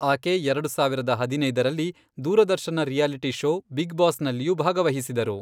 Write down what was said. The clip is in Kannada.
ಆಕೆ ಎರಡು ಸಾವಿರದ ಹದಿನೈದರಲ್ಲಿ, ದೂರದರ್ಶನ ರಿಯಾಲಿಟಿ ಷೋ ಬಿಗ್ ಬಾಸ್ನಲ್ಲಿಯೂ ಭಾಗವಹಿಸಿದರು.